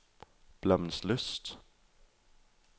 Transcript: Blommenslyst